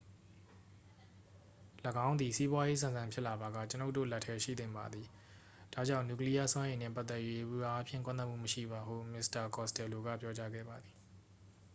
"""၎င်းသည် စီးပွားရေးဆန်ဆန်ဖြစ်လာပါက၊ ကျွန်တော်တို့ လက်ထဲရှိသင့်ပါတယ်။ ဒါကြောင့် နျူကလီယားစွမ်းအင်နှင့် ပတ်သက်၍ ယေဘုယျအားဖြင့် ကန့်ကွက်မှုမရှိပါ" ဟု မစ္စတာ costello က ပြောကြားခဲ့ပါသည်။